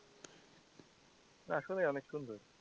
আসলে অনেক সুন্দর।